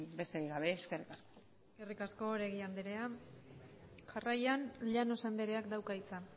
besterik gabe eskerrik asko eskerrik asko oregi andrea jarraian llanos andreak dauka hitza